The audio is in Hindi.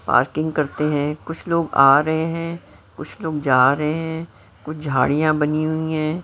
पार्किंग करते हैं कुछ लोग आ रहे हैं कुछ लोग जा रहे हैं कुछ झाड़ियां बनी हुई हैं।